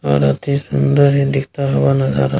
और अति सुन्दर ही दिखता हुआ नज़ारा --